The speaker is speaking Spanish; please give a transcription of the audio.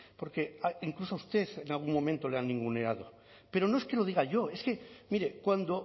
porque incluso a usted en algún momento le han ninguneado pero no es que lo diga yo es que mire cuando